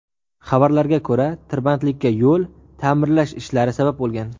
Xabarlarga ko‘ra, tirbandlikka yo‘l ta’mirlash ishlari sabab bo‘lgan.